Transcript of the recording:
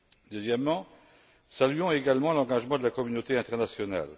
Deuxièmement, saluons également l'engagement de la communauté internationale.